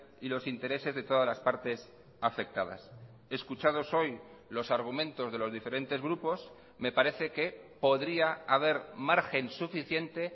y los intereses de todas las partes afectadas escuchados hoy los argumentos de los diferentes grupos me parece que podría haber margen suficiente